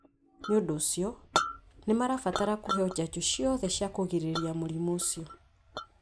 nĩ ũndũ ũcio, nĩ marabatara kũheo njanjo ciothe cia kũgirĩrĩria mũrimũ ũcio.